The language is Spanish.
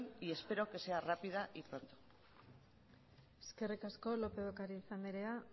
y espero que sea rápida y pronto eskerrik asko lópez de ocariz anderea